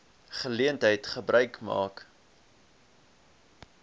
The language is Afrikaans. geleentheid gebruik maak